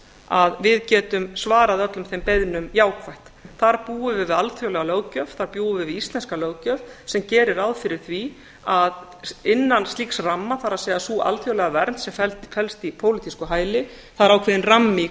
að við getum svarað öllum þeim beiðnum jákvætt þar búum við við alþjóðlega löggjöf þar búum við við íslenska löggjöf sem gerir ráð fyrir því að innan slíks ramma það er sú alþjóðlega vernd sem felst í pólitísku hæli það er ákveðinn rammi í